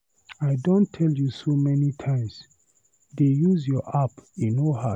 I don tell you so many times, dey use your app, e no hard.